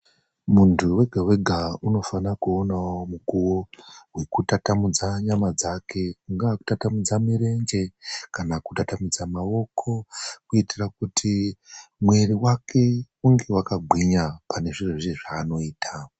Muntu wega wega unofana kuwonawo mukuwo wekutatamudza nyama dzake, kungaa kutatamudza murenje kana kutatamudza maoko kuitira kuti mwiri wake unge wakagwinya panezviro zveshe zvaanoita.